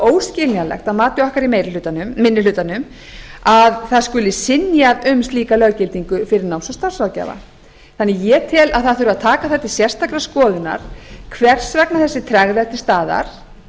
óskiljanlegt að mati okkar í minni hlutanum að það skuli synjað um slíka löggildingu fyrir náms og starfsráðgjafa ég tel því að það þurfi að taka það til sérstakrar skoðunar hvers vegna þessi tregða er til staðar